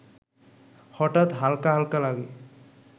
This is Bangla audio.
হঠাৎ হালকা হালকা লাগে